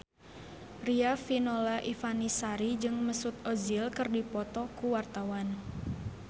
Riafinola Ifani Sari jeung Mesut Ozil keur dipoto ku wartawan